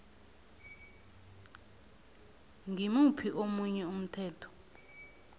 ngimuphi omunye umthetho